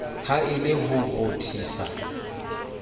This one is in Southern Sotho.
ha e le ho rothisa